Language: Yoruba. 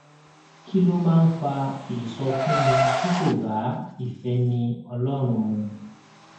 kí ló máa ń fa ìsọfúnni tí kò bá ìféni ọlórun mu